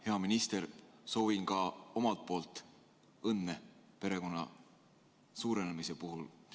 Hea minister, soovin samuti õnne perekonna suurenemise puhul!